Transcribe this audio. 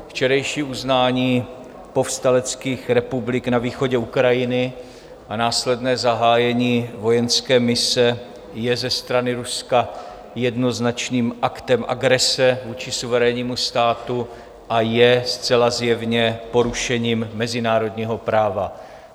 Včerejší uznání povstaleckých republik na východě Ukrajiny a následné zahájení vojenské mise je ze strany Ruska jednoznačným aktem agrese vůči suverénnímu státu a je zcela zjevně porušením mezinárodního práva.